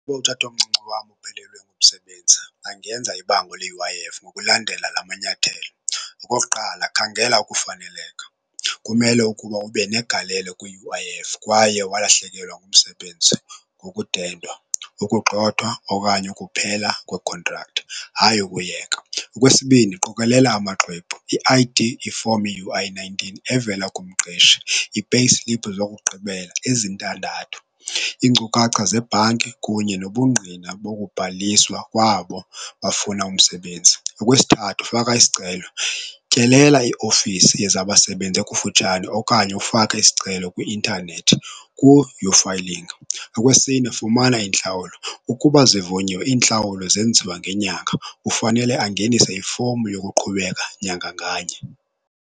Uba utatomncinci wam uphelelwe ngumsebenzi angenza ibango le-U_I_F ngokulandela la manyathelo. Okokuqala, khangela ukufaneleka, kumele ukuba ube negalelo kwi-U_I_F kwaye walahlekelwa ngumsebenzi ngokudedwa, ukugxothwa okanye ukuphela kwekhontrakthi hayi ukuyeka. Okwesibini, qokelela amaxwebhu, i-I_D, ifomu ye-U_I nineteen evela kumqeshi, ii-payslip zokugqibela ezintandathu, iinkcukacha zebhanki kunye nobungqina bokubhaliswa kwabo bafuna umsebenzi. Okwesithathu, faka isicelo, tyelela iofisi yezabasebenzi ekufutshane okanye ufake isicelo kwi-intanethi ku-uFiling. Okwesine, fumana intlawulo, ukuba zivunyiwe iintlawulo zenziwa ngenyanga, kufanele angenisa ifomu yokuqhubeka nyanga nganye.